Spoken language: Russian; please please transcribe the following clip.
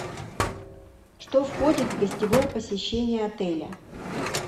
что входит в гостевое посещение отеля